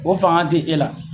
O fanga ti e la .